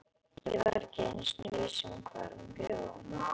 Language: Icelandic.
Ég var ekki einu sinni viss um hvar hann bjó.